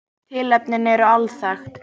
Tilefnin eru alþekkt